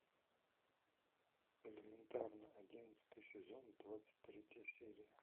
элементарно одиннадцатый сезон двадцать третья серия